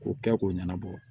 K'o kɛ k'o ɲɛnabɔ